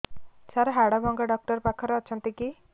ସାର ହାଡଭଙ୍ଗା ଡକ୍ଟର ପାଖରେ ଅଛନ୍ତି କି